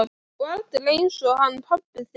Og aldrei einsog hann pabbi þinn.